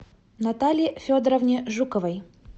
наталье федоровне жуковой